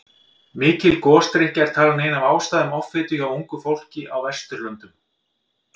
Mikil gosdrykkja er talin ein af ástæðum offitu hjá ungu fólki á Vesturlöndum.